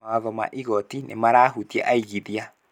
Mawatho ma igoti nĩmarahutia aigithia